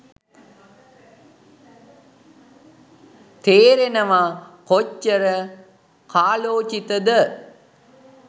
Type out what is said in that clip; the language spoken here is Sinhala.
තේරෙනව කොච්චර කාලෝචිතද